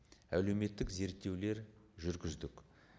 әлеуметтік зерттеулер жүргіздік